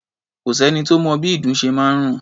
Kò sẹ́ni tó mọ bí ìdun ṣe máa ń rùn.